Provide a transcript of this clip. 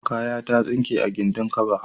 Kaya ya tsinke a gindin kaba.